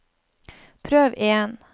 prøv igjen